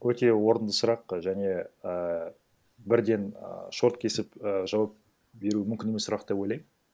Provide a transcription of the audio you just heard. өте орынды сұрақ және ііі бірден і шорт кесіп і жауап беру мүмкін емес сұрақ деп ойлаймын